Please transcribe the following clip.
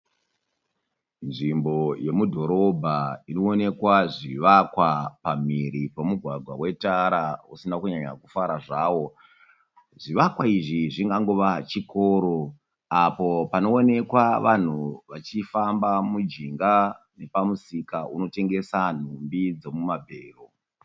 Nzvimbo yomudhorobha inoonekwa zvivakwa pamhiri pomugwagwa wetara usina kunyanya kufara zvawo. Zvivakwa izvi zvingangova chikoro. Apo panoonekwa vanhu vachifamba mujinga nepamusika unotengesa nhumbi dzomumabhero.